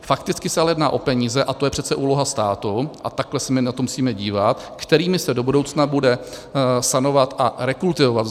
Fakticky se ale jedná o peníze - a to je přece úloha státu a takhle se my na to musíme dívat - kterými se do budoucna bude sanovat a rekultivovat.